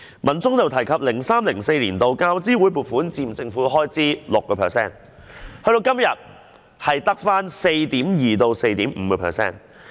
文中又提及 ，2003-2004 年度教資會總撥款佔政府開支 6%， 時至今日，只得 4.2% 至 4.5%。